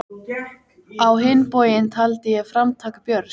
Mörgum dögum fyrir hátíðina hefjast munkarnir handa um undirbúning.